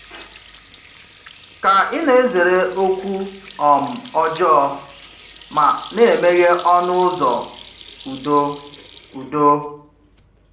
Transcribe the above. Kà ị̀ na-ezere ókwú um ọ̀jọọ ma na-emeghè ọnụ ụzọ udo? udo?